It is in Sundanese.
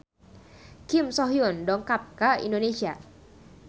Kim So Hyun dongkap ka Indonesia